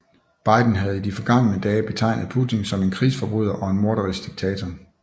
Biden havde i de forgangne dage betegnet Putin som en krigsforbryder og en morderisk Diktator